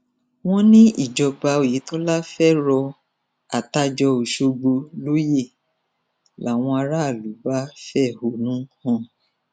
tí ẹgbẹ apc bá tún fi wọlé sípò ààrẹ ìyá ó tì í sú ọmọ nàìjíríà nìyẹn sowore